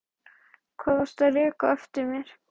Hvað varstu að reka á eftir mér?